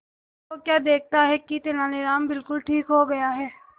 तो क्या देखता है कि तेनालीराम बिल्कुल ठीक हो गया है